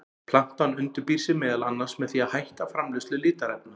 Plantan undirbýr sig meðal annars með því að hætta framleiðslu litarefna.